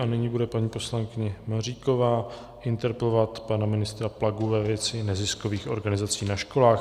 A nyní bude paní poslankyně Maříková interpelovat pana ministra Plagu ve věci neziskových organizací na školách.